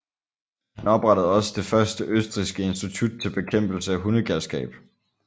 Han oprettede også det første østrigske institut til bekæmpelse af hundegalskab